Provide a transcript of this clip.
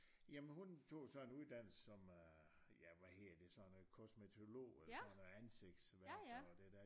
Ja men hun tog jo så en uddannelse som øh ja hvad hedder det sådan noget kosmetolog eller sådan noget ansigtsværk og det der